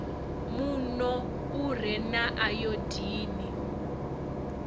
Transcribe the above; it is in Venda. muno u re na ayodini